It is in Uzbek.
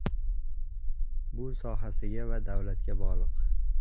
Bu sohasiga va davlatga bog‘liq.